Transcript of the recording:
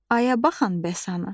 Aya baxan bəs anı?